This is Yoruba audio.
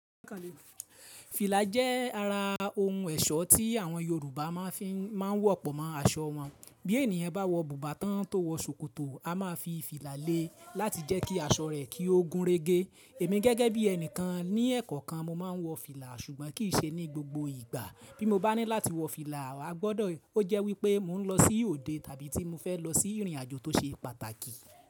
Fìlà jẹ́ ara ohun ẹ̀ṣọ́ tí àwọn Yorùbá máa ń wọ̀ pọ̀ mọ́ aṣọ wọn. Bí ènìyàn bá wọ bùbá tán tó wọ ṣòkòtò, a máa fi fìlà le láti jẹ́ kí aṣọ rẹ kí ó gúnrégé. Èmi gẹ́gẹ́ bí ẹnìkan ní ẹ̀kọ́ kan, mo máa ń wọ fìlà ṣùgbọ́n kì í ṣe ní gbogbo ìgbà. Bí mo bá ní láti wọ fìlà, a gbọ́dọ̀ ó jẹ́ wípé mò ń lọ sí òde tàbí tí mo fẹ́ lọ sí ìrìnàjò tó ṣe pàtàkì.